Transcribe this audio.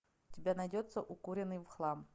у тебя найдется укуренный в хлам